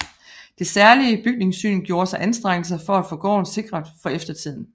Det særlige Bygningssyn gjorde sig anstrengelser for at få gården sikret for eftertiden